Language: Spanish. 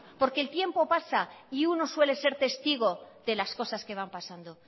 porque el tiempo pasa y uno suele ser testigo de las cosas que van pasando